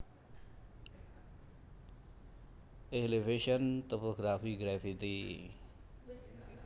Elevation Topography Gravity